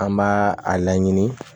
An b'a a laɲini